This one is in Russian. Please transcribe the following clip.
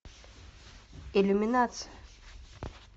иллюминация